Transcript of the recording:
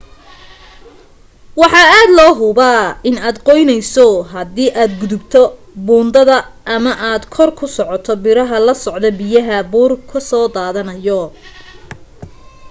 waxa aad loo huba in aad qoyneyso haddi aad gudubto buundada ama aad ku kor socoto biraha loo socdo biyaha buur ka soo dadanayo